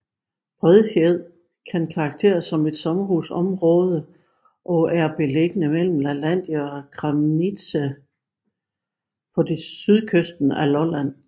Bredfjed kan karakteriseres som et sommerhusområde og er beliggende mellem Lalandia og Kramnitze på sydkysten af Lolland